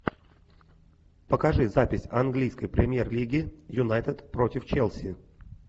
покажи запись английской премьер лиги юнайтед против челси